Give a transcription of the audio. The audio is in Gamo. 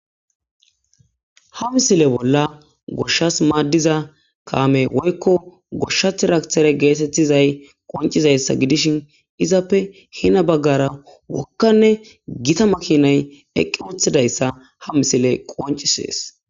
ha misile bolla goshshas maaddiza kaame woykko goshshathiraktere geetettizay qoncizayssa gidishin izappe hina baggara wokkanne gita makinay eqqerethidayssa ha misile qoncisees